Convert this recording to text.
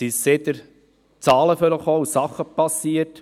Seither tauchten Zahlen auf, und es geschahen Dinge.